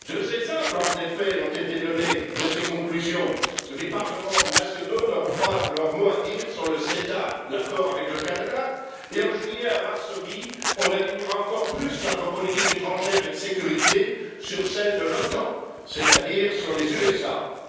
Deux exemples, en effet, ont été donnés de ces conclusions les parlements nationaux n'auront pas leur mot à dire sur le CETA, l'accord avec le Canada, et, en juillet, à Varsovie, on alignera encore plus notre politique étrangère et de sécurité sur celle de l'OTAN, c'est à dire sur celle des États Unis.